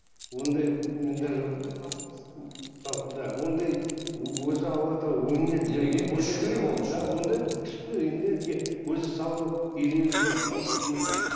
ондай мен даже да ондай өзі алла тағала өнерді да ондай күшті энергия өзі салу үйренеді адам өзі